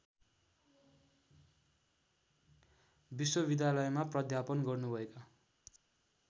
विश्वविद्यालयमा प्राध्यापन गर्नुभएका